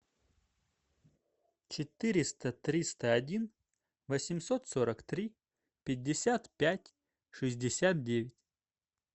четыреста триста один восемьсот сорок три пятьдесят пять шестьдесят девять